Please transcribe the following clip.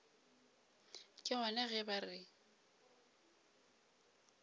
ke gona ge ba re